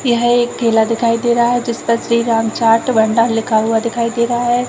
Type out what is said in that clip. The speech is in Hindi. यह एक ठेला दिखाई दे रहा है जिस पर श्री राम चार्ट भंडार लिखा हुआ दिखाई दे रहा है